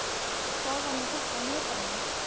En hvað var nú þetta í miðbænum?